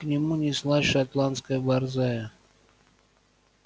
к нему неслась шотландская борзая